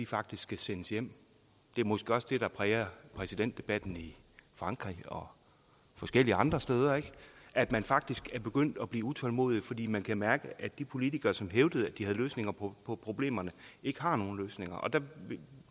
faktisk skal sendes hjem det er måske også det der præger præsidentdebatten i frankrig og forskellige andre steder altså at man faktisk er begyndt at blive utålmodig fordi man kan mærke at de politikere som hævdede at de havde løsninger på problemerne ikke har nogen løsninger der